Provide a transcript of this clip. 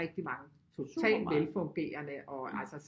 Rigtig mange totalt velfungerende og altså